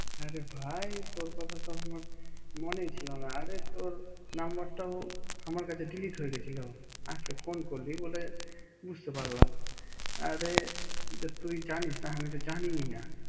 হ্যাঁ রে ভাই তোর কথা তো আমার মনেই ছিলনা আরে তোর নাম্বারটাও আমার কাছে ডিলিট হয়ে গেছিল আজকে ফোন করলি বলে বুঝতে পারলাম আরে তুই জানিসনা আমি তো জানিনা